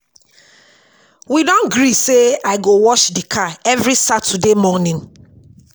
We don gree sey I go wash di car every Saturday morning.